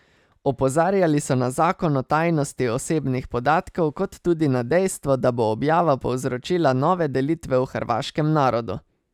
Opozarjali so na zakon o tajnosti osebnih podatkov kot tudi na dejstvo, da bo objava povzročila nove delitve v hrvaškem narodu.